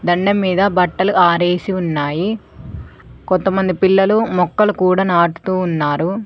దండెం మీద బట్టలు ఆరేసి ఉన్నాయి కొంతమంది పిల్లలు మొక్కలు కూడా నాటుతూ ఉన్నారు.